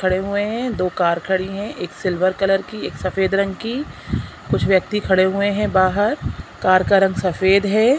--खड़े हुए हैं दो कार खड़ी है एक सिल्वर कलर की एक सफ़ेद रंग की कुछ व्यक्ति खड़े हुए हैं बाहर कार का रंग सफ़ेद है।